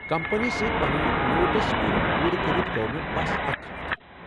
Company سۭتۍ پنن notice period پوٗرٕ کٔرِتھ گو٘و مے٘ بس اكھ ہفتہ ۔